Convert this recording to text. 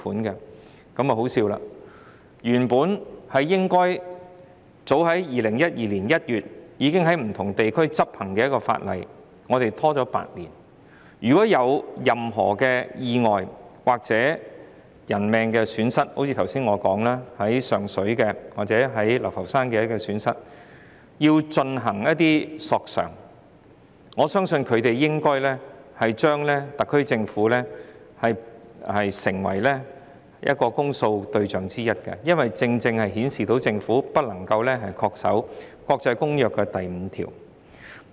這真的很可笑，原本應該早於2012年1月已經在不同地區執行的國際協定，香港卻拖延了8年，如有任何意外或人命損失，正如我剛才所說，如果要就上水或流浮山意外造成的損失進行索償，我相信索償人應該視特區政府為公訴對象之一，因為政府未能恪守《公約》第五條。